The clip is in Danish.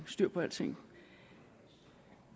styr på alting